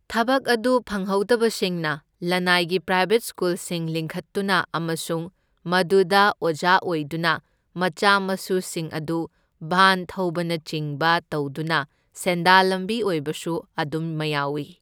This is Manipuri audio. ꯊꯕꯛ ꯑꯗꯨ ꯐꯪꯍꯧꯗꯕꯁꯤꯡꯅ ꯂꯅꯥꯏꯒꯤ ꯄ꯭ꯔꯥꯏꯕꯦꯠ ꯁ꯭ꯀꯨꯜꯁꯤꯡ ꯂꯤꯡꯈꯠꯇꯨꯅ ꯑꯃꯁꯨꯡ ꯃꯗꯨꯗ ꯑꯣꯖꯥ ꯑꯣꯏꯗꯨꯅ ꯃꯆꯥ ꯃꯁꯨꯁꯤꯡ ꯑꯗꯨ ꯚꯥꯟ ꯊꯧꯕꯅꯆꯤꯡꯕ ꯇꯧꯗꯨꯅ ꯁꯦꯟꯗꯥꯜ ꯂꯝꯕꯤ ꯑꯣꯏꯕꯁꯨ ꯑꯗꯨꯝ ꯃꯌꯥꯎꯢ꯫